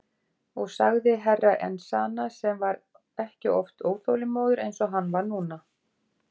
Og sagði Herra Enzana sem var ekki oft óþolinmóður eins og hann var núna.